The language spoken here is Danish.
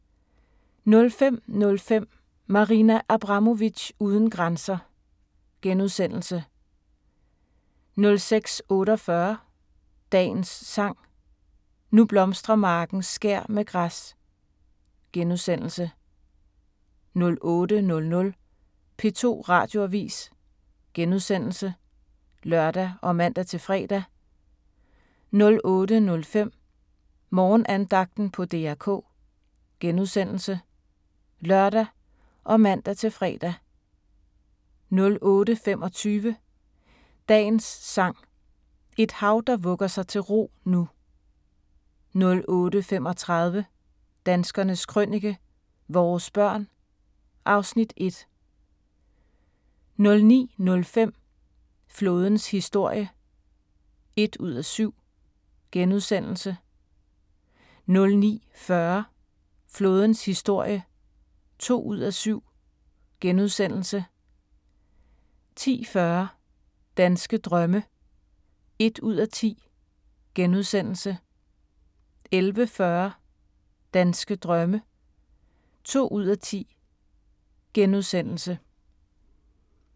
05:05: Marina Abramovic uden grænser * 06:48: Dagens Sang: Nu blomstrer marken skær med græs * 08:00: P2 Radioavis *(lør og man-fre) 08:05: Morgenandagten på DR K *(lør og man-fre) 08:25: Dagens Sang: Et hav der vugger sig til ro nu 08:35: Danskernes Krønike - vores børn (Afs. 1) 09:05: Flådens historie (1:7)* 09:40: Flådens historie (2:7)* 10:40: Danske drømme (1:10)* 11:40: Danske drømme (2:10)*